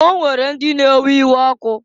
O nwere ndị na-ewe iwe ọkụ.